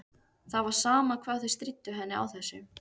Það var sama hvað þau stríddu henni á þessu.